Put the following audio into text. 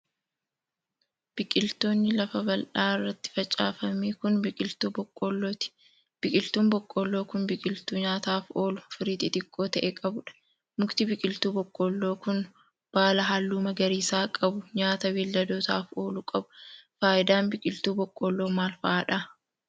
Biqiltooni lafa bal'aa irratti facaafame kun, biqiltuu boqqoollooti. Biqiltuun boqqoolloo kun, biqiltuu nyaataaf oolu, firii xixiqqoo ta'e qabuu dha. Mukti biqiltuu boqqqoolloo kun, baala haalluu magariisaa qabu nyaata beeyladootaaf oolu qabu. Faayidaan biqiltuu boqqoolloo maal faa dha?